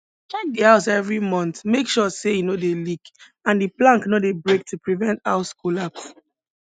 check di house every month make sure say e no dey leak and di plank no dey break to prevent house collapse